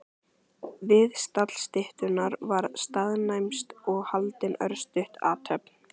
Við stall styttunnar var staðnæmst og haldin örstutt athöfn.